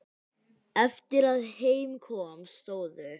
Eftir að heim kom stóðu